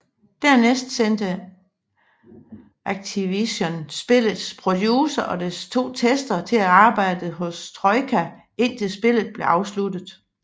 Dernæst sendte Activision spillets producer og to testere til at arbejde hos Troika indtil spillet blev afsluttet